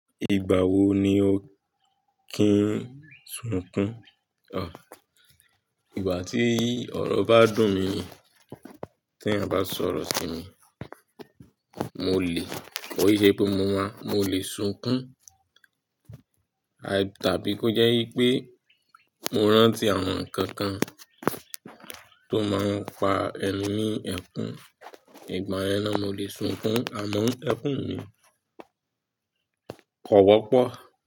Ìgbà wo ni o kí ń sunkún? Ò, ìgbà tí ọ̀rọ̀ bá dùn mi, tí ẹ̀yin bá sọ̀rọ̀ sí mi, mo lè, kò ṣe pé mo máa, mo lè sunkún. Tàbí kó jẹ́ wípé mo rántí àwọn ǹkankan tó máa ń pa èmi ní ẹkún ìgbàyẹn ná mo lè sukún. Àma ẹkún mi kò wọ́pọ̀.